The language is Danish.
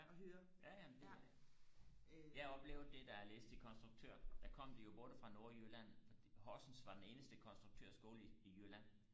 ja ja ja det øh jeg oplevede det da jeg læste til konstuktør der kom de jo både fra nordjylland fordi Horsens var den eneste konstruktørskole i i jylland